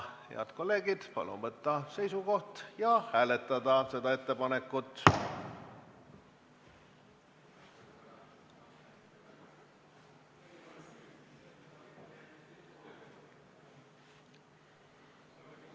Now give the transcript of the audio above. Head kolleegid, palun võtta seisukoht ja hääletada seda ettepanekut!